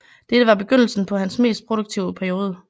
Dette var begyndelsen på hans mest produktive periode